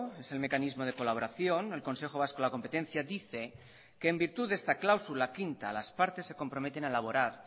es el mecanismo de colaboración el consejo vasco de la competencia dice que en virtud de esta cláusula quinta las partes se comprometen a elaborar